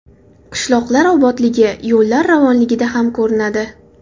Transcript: Qishloqlar obodligi yo‘llar ravonligida ham ko‘rinadi.